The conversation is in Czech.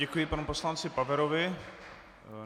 Děkuji panu poslanci Paverovi.